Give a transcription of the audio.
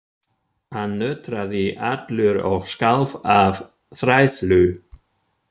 Hann nötraði allur og skalf af hræðslu.